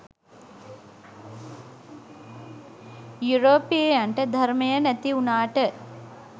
යුරෝපීයයන්ට ධර්මය නැති වුණාට